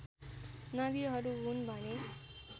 नदीहरू हुन् भने